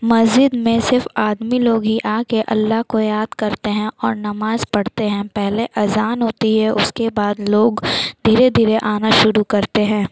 मस्जिद में सिर्फ आदमी लोग ही अल्लाह को याद करते हैं और नमाज़ पड़ते है पहले अज़ान होती है उसके बाद लोग धीरे-धीरे आना शुरू करते है।